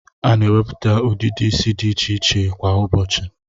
A na enweputa udidi isi di iche iche kwa ubochi